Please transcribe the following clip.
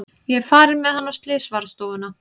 Ég er farin með hann á slysavarðstofuna.